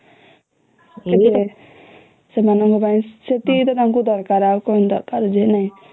ସେମଙ୍କଙ୍କ ପାଇଁ ସେତିକି ତ ତାଙ୍କୁ ଦରକାର ଆଉ କଣ ଦରକାର ଯେ